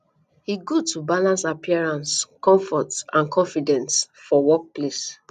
e good to balance appearance comfort and confidence for workplace